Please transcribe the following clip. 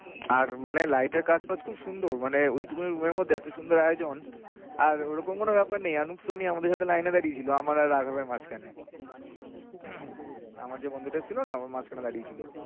আর মানে light এর কাজ টাজ খুব সুন্দর মানে ঐটুকু room এর মধ্যে এত সুন্দর আয়োজন আর ঐরকম কোনো ব্যাপার নেই এবং সুমি আমাদের সাথে লাইনে দাঁড়িয়ে ছিলো আমার আর রাঘাব এর মাঝখানে। আমার যে বন্ধুটা ছিলোনা ও মাঝখানে দাঁড়িয়ে ছিলো।